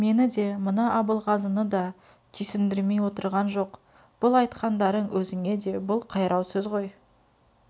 мені де мына абылғазыны да түйсіндірмей отырған жоқ бұл айтқандарың өзіңе де бұл қайрау сөз ғой